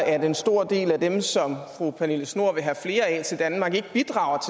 at en stor del af dem som fru pernille schnoor vil have flere af til danmark ikke bidrager